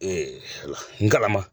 Ala ngalama